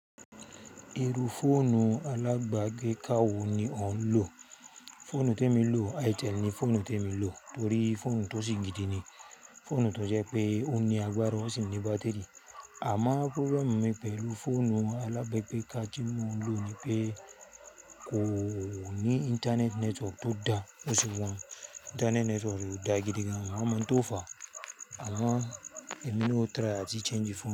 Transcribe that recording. Irú fóònù alábagbeka wò ni ó ń lò? Fóònù tèmi n lò, itel ni fóònù tí èmi lò torí fóònù tó sì gidi ni. Fóònù tó jẹ́ pé ó ní agbára, ó sì ní bátèrí. Àmọ́ problem mi pẹ̀lú fóònù alábagbeká tí mo ń lò ni pé kò ní internet network tó da bó ṣe wà un internet network rẹ̀ ò dáa gidi gan mi o wa máa ń tó fà. Àmọ́ èmi na o try àti change fóònù.